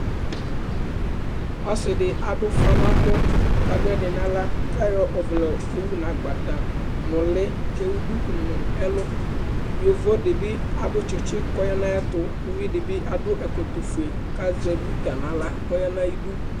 ɔsi di aɖu ufa nɛ mɔKa ɖu ɛdi na ala kuayɔ ɔʋlɛ yowu na agbata nu uli ku ewu ɖuku nu ɛlu yovodi aɖu tsitsi ku ɔɣanaɣɛtu uvidibi adu ékotu fuè kua zɛ buta naʋla kɔya nu ayiɖu